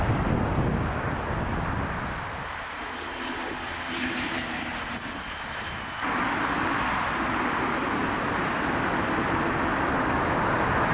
Hava şəraitinin dəyişməsi ilə əlaqədar olaraq elektrik təchizatında fasilələr yarana bilər.